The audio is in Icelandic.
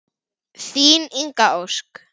Þín Inga Ósk.